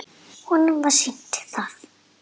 Honum var sýnt það.